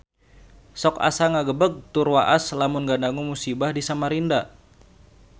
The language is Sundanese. Sok asa ngagebeg tur waas lamun ngadangu musibah di Samarinda